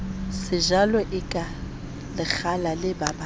sejalo sa lekgala le babang